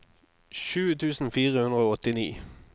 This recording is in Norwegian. tjue tusen fire hundre og åttini